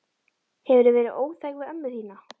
Hefurðu verið óþæg við ömmu þína?